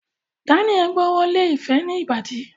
Daniel gb'ọwọ Lẹ ifẹ ní Ìbàdí.